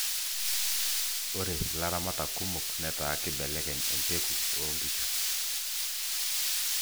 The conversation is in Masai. ore ilaramatak kumok netaa kibelekeny embeku oo inkishu